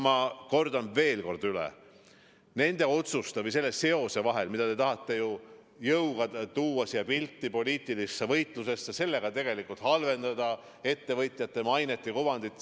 Ma kordan veel kord: selle seosega, mida te tahate jõuga pildile, poliitilisse võitlusesse tuua, te tegelikult halvendate ettevõtjate mainet ja kuvandit.